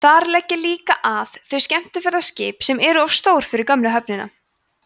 þar leggja líka að þau skemmtiferðaskip sem eru of stór fyrir gömlu höfnina